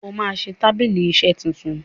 óma ṣẹ tábìlì iṣe títún